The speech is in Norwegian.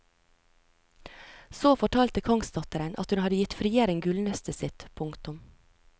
Så fortalte kongsdatteren at hun hadde gitt frieren gullnøstet sitt. punktum